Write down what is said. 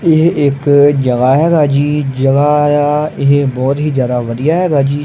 ਇਹ ਇੱਕ ਜਗਾ ਹੈ ਜਗਾ ਇਹ ਬਹੁਤ ਹੀ ਜਿਆਦਾ ਵਧੀਆ ਹੈਗਾ ਜੀ।